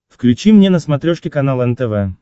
включи мне на смотрешке канал нтв